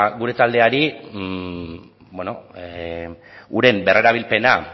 gure taldeari uren berrerabilpena